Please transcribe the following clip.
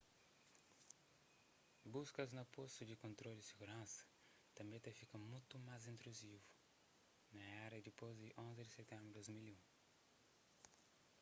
buskas na postus di kontrolu di siguransa tanbê ta fika mutu más intruzivu na éra dipôs di 11 di sitenbru di 2001